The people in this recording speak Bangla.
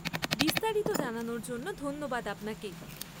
বিস্তারিত জানানোর জন্য ধন্যবাদ আপনাকে।